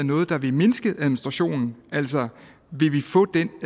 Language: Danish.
noget der vil mindske administrationen altså vil vi få den